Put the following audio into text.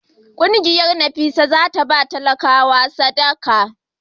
Kungiyar NAFSAT za ta ba talakawa sadaka.